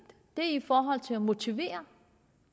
i forhold til at motivere